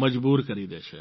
મજબૂર કરી દે છે